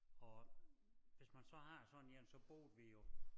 Og hvis man så har sådan én så boede vi jo